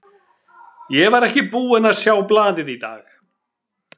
Ég var ekki búinn að sjá blaðið í dag.